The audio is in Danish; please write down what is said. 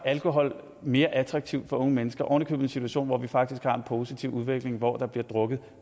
alkohol mere attraktivt for unge mennesker oven i købet situation hvor vi faktisk har en positiv udvikling hvor der bliver drukket